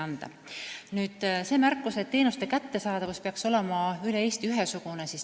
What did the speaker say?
Siin kõlas märkus, et teenuste kättesaadavus peaks olema üle Eesti ühesugune.